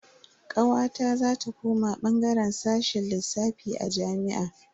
Kawata za ta koma bangaren sashen lissafi a jami'a.